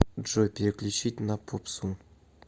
джой переключить на попсу